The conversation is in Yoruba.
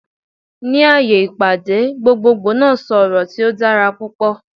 Ni aaye ipade, gbogboogbo naa sọ ọrọ ti o dara pupọ